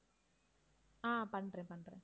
ஆஹ் பண்றேன், பண்றேன்